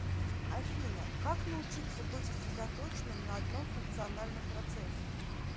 афина как научиться быть сосредоточенным на одном функциональном процессе